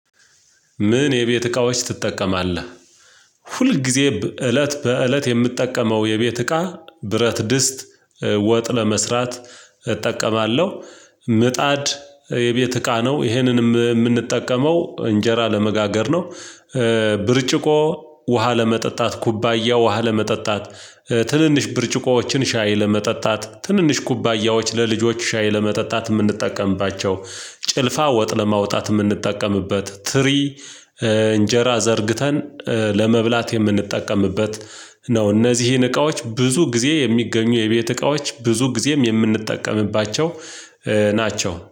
ምን የቤት እቃዎች ትጠቀማለህ? ሁል ጊዜ እለት በእለት የምጠቀመው የቤት እቃ ብረት ድስት ወጥ ለመስራት እጠቀማለሁ ምጣድ የቤት እቃ ነው ይሄንን የምንጠቀመው እንጀራ ለመጋገር ነው። ብርጭቆ ውሃ ለመጠጣት ኩባያ ውሃ ለመጠጣት ትንንሽ ብርጭቆዎችን ሻይ ለመጠጣት ትንንሽ ኩባያዎች ለልጆች ሻይ ለመጠጣት የምንጠቀምባቸው ጭልፋ ወጥ ለማውጣት የምንጠቀምበት ትሪ እንጀራ ዘርግተን ለመብላት የምንጠቀምበት ነው። እነዚህን እቃዎች ብዙ ጊዜ የሚገኙ የቤት እቃዎች ብዙ ጊዜም የምንጠቀምባቸው ናቸው